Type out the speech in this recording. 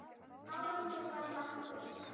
Árangur varð nokkur.